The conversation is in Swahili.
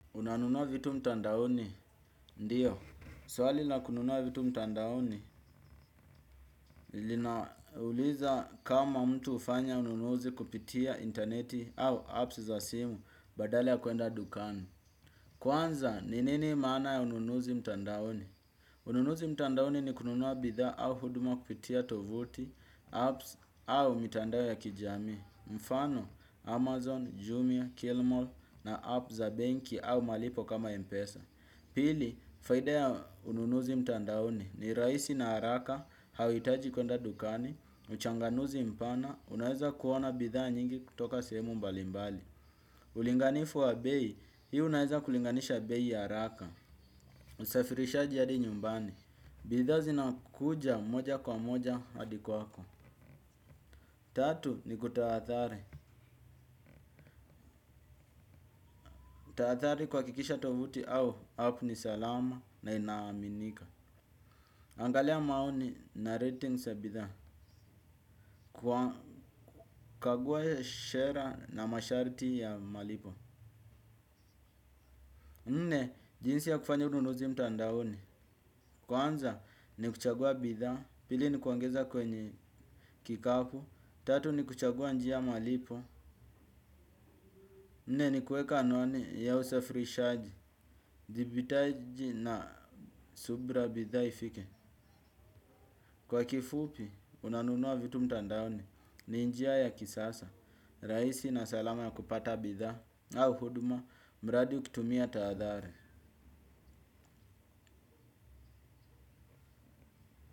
Unanunua vitu mtandaoni, ndiyo. Swali la kununua vitu mtandaoni, linauliza kama mtu hufanya ununuzi kupitia interneti au apps za simu, badale ya kuenda dukani. Kwanza, ni nini maana ya ununuzi mtandaoni? Ununuzi mtandaoni ni kununua bidhaa au huduma kupitia tovuti, apps au mitandao ya kijami. Mfano, Amazon, Jumia, Killmall na app za banki au malipo kama Mpesa. Pili, faida ya ununuzi mtandaoni ni rahisi na haraka, hauhitaji kuenda dukani, uchanganuzi mpana, unaeza kuona bidhaa nyingi kutoka sehemu mbali mbali. Ulinganifu wa bei, hii unaeza kulinganisha bei ya haraka. Usafirishaji hadi nyumbani, bidhaa zinakuja moja kwa moja hadi kwako. Tatu, ni kutahadhari. Tahadhari kuhakikisha tovuti au, app ni salama na inaaminika. Angalia maoni na ratings ya bidhaa. Kwa kukagua sera na masharti ya malipo nne jinsi ya kufanya ununuzi mtandaoni kwanza ni kuchagua bidhaa. Pili ni kuongeza kwenye kikapu. Tatu ni kuchagua njia malipo. Nne ni kuweka anwani ya usafirishaji. Uthibitaji na subra ya bidha ifike. Kwa kifupi unanunua vitu mtandaoni. Ni njia ya kisasa raisi na salama ya kupata bidha au huduma, mradi ukitumia tahadhari.